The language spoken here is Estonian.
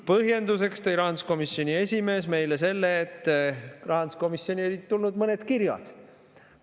Põhjenduseks tõi rahanduskomisjoni esimees meile selle, et rahanduskomisjoni olid tulnud mõned kirjad.